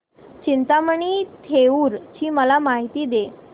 चिंतामणी थेऊर ची मला माहिती दे